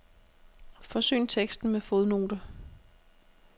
Forsyn teksten med fodnote.